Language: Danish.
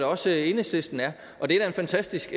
også enhedslisten er og det er da en fantastisk